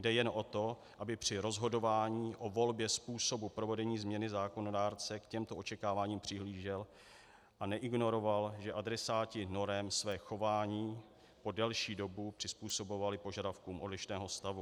Jde jen o to, aby při rozhodování o volbě způsobu provedení změny zákonodárce k těmto očekáváním přihlížel a neignoroval, že adresáti norem své chování po delší dobu přizpůsobovali požadavkům odlišného stavu.